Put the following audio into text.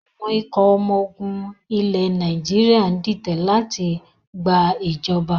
Àwọn ikọ̀ ọmọ ogun ilẹ̀ Nàìjíríà ń ditẹ̀ láti gba ìjọ̀ba